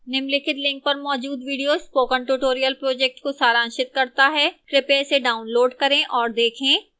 निम्नलिखित link पर मौजूद video spoken tutorial project को सारांशित करता है कृपया इसे डाउनलोड करें और देखें